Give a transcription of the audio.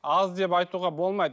аз деп айтуға болмайды